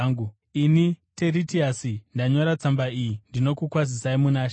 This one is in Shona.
Ini Teritiasi, ndanyora tsamba iyi ndinokukwazisai muna She.